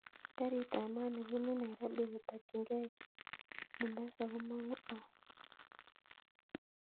Karit ab maat nebunu nairobi kotokyingei mombasa komongu au